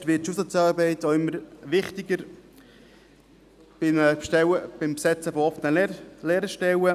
Nicht zuletzt wird die Schulsozialarbeit auch immer wichtiger beim Besetzen von offenen Lehrerstellen.